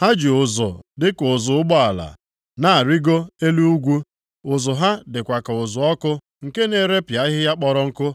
Ha ji ụzụ dịka ụzụ ụgbọala na-arịgo elu ugwu. Ụzụ ha dịkwa ka ụzụ ọkụ nke na-erepịa ahịhịa kpọrọ nkụ.